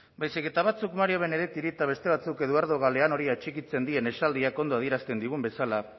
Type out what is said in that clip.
baizik eta batzuk mario benedettiri eta beste batzuk eduardo galeanori atxikitzen dien esaldiak ondo adierazten digun bezala